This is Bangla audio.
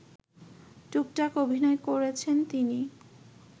টুকটাক অভিনয় করেছেন তিনি